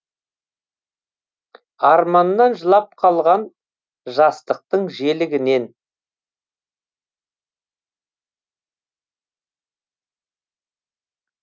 арманнан жылап қалған жастықтың желігінен